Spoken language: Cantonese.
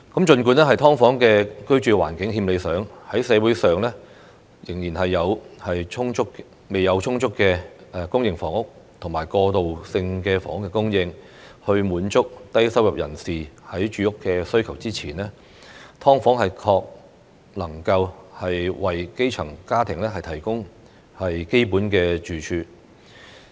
儘管"劏房"的居住環境欠理想，但在社會上仍然未有充足公營房屋和過渡性房屋供應以滿足低收入人士的住屋需求之前，"劏房"確能為基層家庭提供基本住處。